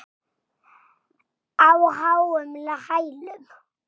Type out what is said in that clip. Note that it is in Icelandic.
Á háum hælum.